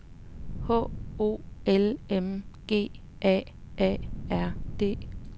H O L M G A A R D